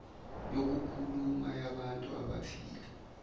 yokukhuluma yabantu abathile